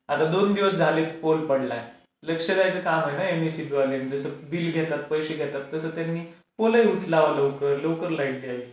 आता दोन दिवस झाले पोल पडलाय. लक्ष द्यायचं काम आहे ना एम एस ई बी वाल्यांचा. जस बिल घेतात, पैसे घेतात, तसं त्यांनी पोलही उचलावा लवकर लवकर लाईट द्यावी.